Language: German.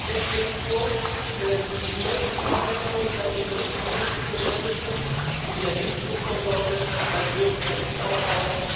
Er schlägt vor, die deutlichen Verbesserungen bei den Berichtspflichten zu unterstützen in der Risikovorsorge, beim Bürokratieabbau.